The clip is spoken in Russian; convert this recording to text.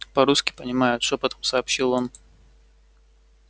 по русски понимают шёпотом сообщил он